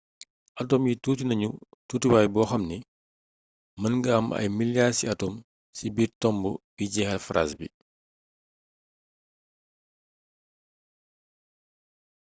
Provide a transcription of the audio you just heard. atome yi tuuti nañu tuutiwaay boo xamni mën nga am ay miliyaar ciy atome ci biir tomb bii jeexal phrase bii